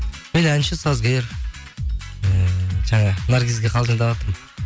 мен әнші сазгер ііі жаңа наргизге қалжыңдаватырмын